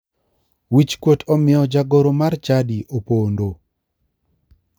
Wichkuot omiyo jagoro mar chadi opondo.